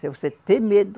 Se você ter medo,